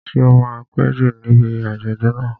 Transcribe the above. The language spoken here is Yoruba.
Ṣé o máa péjú níbi àjọ̀dún náà?